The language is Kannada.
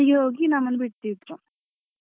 ಅಲ್ಲಿಗೆ ಹೋಗಿ ನಮ್ಮನ್ನು ಬಿಡ್ತಿದ್ರು.